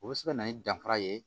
O bɛ se ka na ni danfara ye